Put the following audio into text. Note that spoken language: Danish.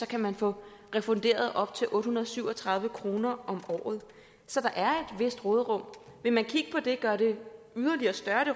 kan man få refunderet op til otte hundrede og syv og tredive kroner om året så der er vist råderum vil man kigge på det gøre det